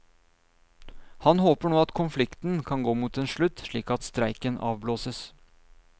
Han håper nå at konflikten kan gå mot en slutt, slik at streiken avblåses.